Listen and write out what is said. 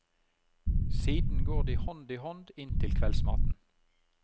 Siden går de hånd i hånd inn til kveldsmaten.